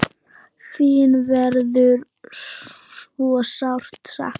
Þín verður svo sárt saknað.